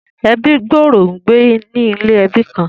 Ebí gbòòrò ń gbé ni ilé ẹbí kan